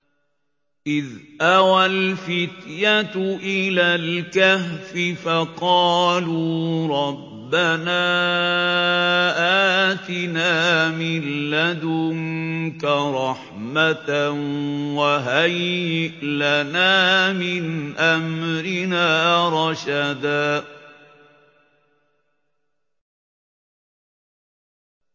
إِذْ أَوَى الْفِتْيَةُ إِلَى الْكَهْفِ فَقَالُوا رَبَّنَا آتِنَا مِن لَّدُنكَ رَحْمَةً وَهَيِّئْ لَنَا مِنْ أَمْرِنَا رَشَدًا